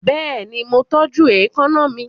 Bẹ́ẹ̀ni, mo tọ́jú èékánná mi.